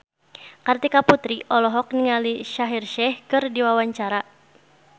Kartika Putri olohok ningali Shaheer Sheikh keur diwawancara